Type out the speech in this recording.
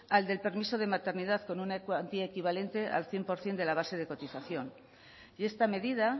al del permiso de maternidad con una cuantía equivalente al cien por ciento de la base de cotización y esta medida